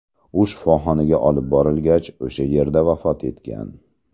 U shifoxonaga olib borilgach, o‘sha yerda vafot etgan.